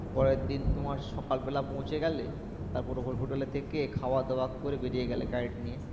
পরের দিন তোমার সকাল বেলা পৌছিয়ে গেলে তারপর hotel এ থেকে খাওয়া দাও করে বেরিয়ে গেলে guide নিয়ে